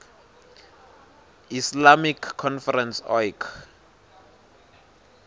islamic conference oic